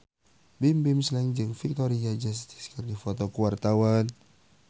Bimbim Slank jeung Victoria Justice keur dipoto ku wartawan